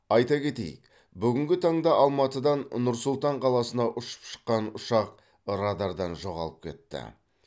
айта кетейік бүгінгі таңда алматыдан нұр сұлтан қаласына ұшып шыққан ұшақ радардан жоғалып кетті